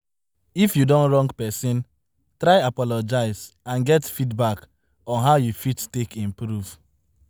If you don wrong person, try apologize and get feedback on how you fit take improve